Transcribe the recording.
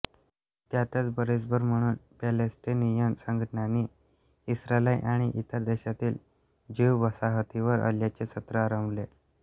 त्यातच भरीसभर म्हणून पॅलेस्टिनियन संघटनांनी इस्रायल आणि इतर देशातील ज्यू वसाहतींवर हल्ल्यांचे सत्र आरंभले